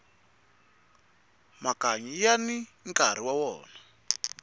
makanyi yani nkarhi wa wona